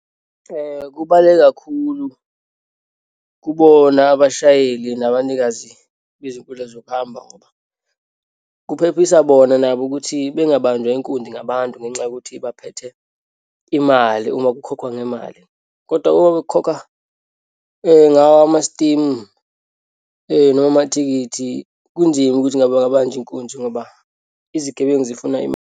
Kubaluleke kakhulu kubona abashayeli nabanikazi bezinkundla zokuhamba ngoba kuphephisa bona nabo ukuthi bengabanjwa inkunzi ngabantu ngenxa yokuthi baphethe imali, uma kukhokhwa ngemali. Kodwa uma bekukhokhwa ngawo amasitimu noma amathikithi, kunzima ukuthi kungababanjwa inkunzi ngoba izigebengu zifuna .